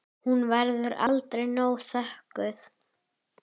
Hún verður aldrei nóg þökkuð.